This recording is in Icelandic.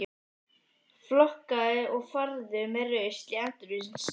Flokkaðu og farðu með rusl í endurvinnslu.